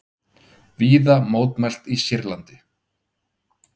Víða mótmælt í Sýrlandi